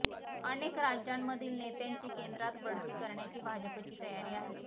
अनेक राज्यांमधील नेत्यांची केंद्रात बढती करण्याची भाजपची तयारी आहे